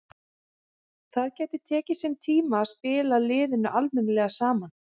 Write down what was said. Það gæti tekið sinn tíma að spila liðinu almennilega saman.